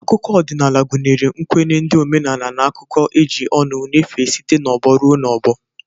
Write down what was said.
Akụkọ odịnaala gụnyere nkwenye ndị, omenala n'akuko e ji ọnụ nyefee site n'ọgbọ rue n'ọgbọ.